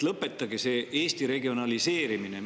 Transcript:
Lõpetage see Eesti regionaliseerimine!